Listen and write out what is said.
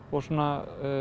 og